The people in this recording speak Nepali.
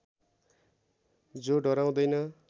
जो डराउँदैन